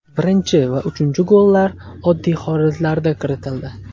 Birinchi va uchinchi gollar oddiy holatlarda kiritildi”.